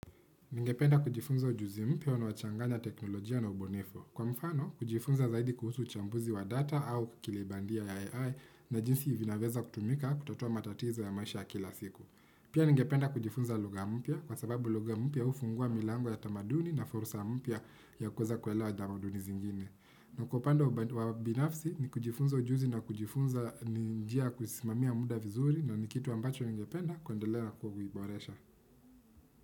Ningependa kujifunza ujuzi mpya unaochanganya teknolojia na ubunifui. Kwa mfano, kujifunza zaidi kuhusu uchambuzi wa data au kukile bandia ya AI na jinsi vinaweza kutumika kutotua matatizo ya maisha ya kila siku. Pia ningependa kujifunza lugha mpya kwa sababu lugha mpya hufungua milango ya tamaduni na fursa mpya ya kuweza kuelewa tamaduni zingine. Na kwa upande wa ubinafsi ni kujifunza ujuzi na kujifunza ni njia ya kusimami muda vizuri na ni kitu ambacho ningependa kuendelewa kuwaiboresha.